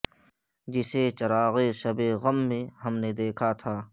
جسے چراغ شب غم میں ہم نے دیکھا تھا